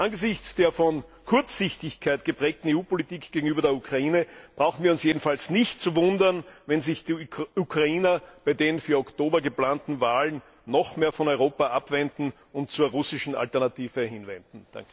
Angesichts der von Kurzsichtigkeit geprägten EU Politik gegenüber der Ukraine brauchen wir uns jedenfalls nicht zu wundern, wenn sich die Ukrainer bei den für Oktober geplanten Wahlen noch mehr von Europa abwenden und zur russischen Alternative hinwenden.